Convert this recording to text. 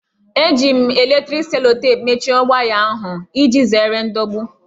Eji m eletriki selotepụ mechie waya ahụ, iji zere ndọgbu